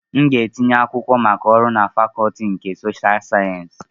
M ga-etinye akwụkwọ maka ọrụ na Fakọọti nke Sosha sayensị